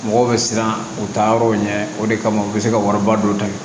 Mɔgɔw bɛ siran u taa yɔrɔw ɲɛ o de kama u bɛ se ka wariba dɔ ta yen